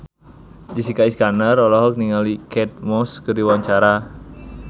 Jessica Iskandar olohok ningali Kate Moss keur diwawancara